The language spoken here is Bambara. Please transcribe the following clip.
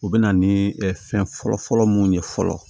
U bɛ na ni fɛn fɔlɔfɔlɔ mun ye fɔlɔ